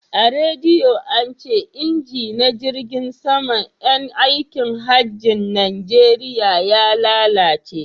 A rediyo ance inji na jirgin sama yan aikin hajjin najeriya ya lalace